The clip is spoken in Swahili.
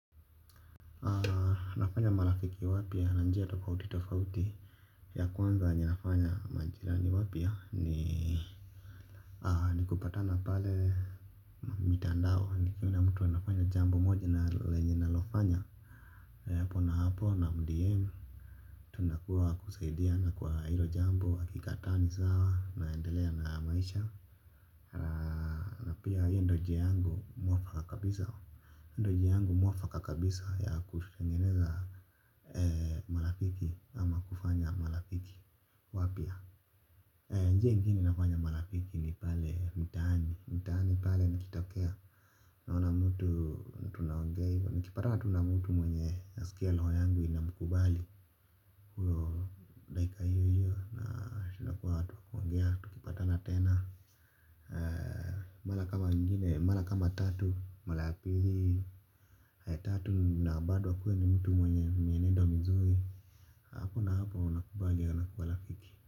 Nafanya marafiki wapya na njia tofauti tofauti. Ya kwanza ninafanya majirani wapya ni ni kupatana pale. Mitandao nikiona mtu anafanya jambo moja na lenye nalofanya. Hapo na hapo na mdm. Tunakuwa kusaidiana kwa hilo jambo akikataa ni sawa naendelea na maisha. Na pia hiyo ndio njia yangu mwafaka kabisa hio ndio njia yangu mwafaka kabisa ya kutengeneza kwa marafiki ama kufanya marafiki wapya njia ingine nafanya marafiki ni pale mtaani mtaani pale nikitokea naona mtu nikipatana tu na mtu mwenye nasikia roho yangu inamkubali huyo dakika hiyo hiyo na inakuwanga tu kuongea tukipatana tena mara kama tatu mara ya pili, tatu na bado akuwe ni mtu mwenye mienendo mizuri hapo na hapo nakubali ana kuwa rafiki.